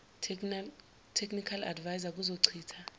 technical adviser kuzochitha